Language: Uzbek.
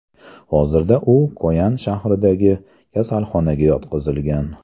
Hozirda u Koyan shahridagi kasalxonaga yotqizilgan.